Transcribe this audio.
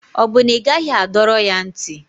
Ọ bụ na ị gaghị adọrọ ya ntị?